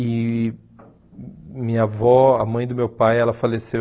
E minha avó, a mãe do meu pai, ela faleceu.